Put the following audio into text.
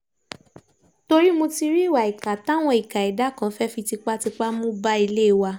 torí mo ti rí ìwà ìkà táwọn ìka ẹ̀dà kan fẹ́ẹ́ fi tipátipá mú bá ilé wa